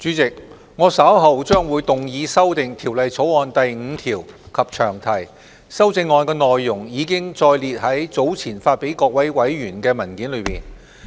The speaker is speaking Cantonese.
主席，我稍後將動議修訂《2019年稅務條例草案》第5條及詳題，修正案內容已載列於早前發給各位委員的文件內。